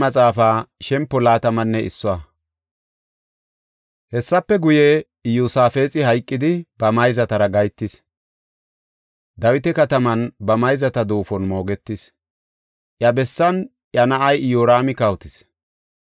Hessafe guye, Iyosaafexi hayqidi ba mayzatara gahetis. Dawita kataman ba mayzata duufon moogetis. Iya bessan iya na7ay Iyoraami kawotis.